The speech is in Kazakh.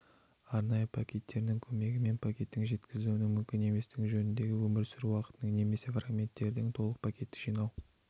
арнайы пакеттерінің көмегімен пакеттің жеткізілуінің мүмкін еместігі жөнінде өмір сүру уақытының немесе фрагменттерден толық пакетті жинау